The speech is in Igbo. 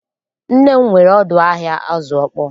Nne m nwere ọdụ ahịa azụ ọkpọọ